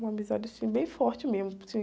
Uma amizade, assim, bem forte mesmo.